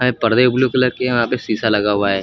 ये पर्दे blue colour के हैं यहां पे शीशा लगा हुआ है।